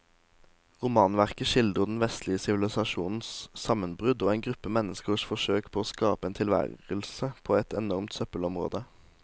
Romanverket skildrer den vestlige sivilisasjons sammenbrudd og en gruppe menneskers forsøk på å skape en tilværelse på et enormt søppelområde.